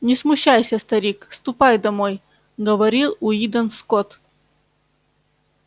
не смущайся старик ступай домой говорил уидон скотт